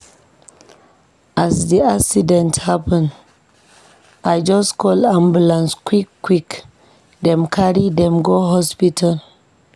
As di accident happen, I just call ambulance quick-quick dem carry dem go hospital.